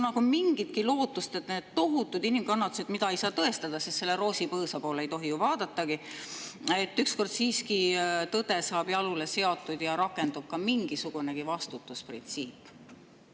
Kas on mingitki lootust, et kuigi neid tohutuid inimkannatusi ei saa tõestada, sest selle roosipõõsa poole ei tohi ju vaadatagi, siis ükskord siiski saab tõde jalule seatud ja rakendub ka mingisugune vastutusprintsiip?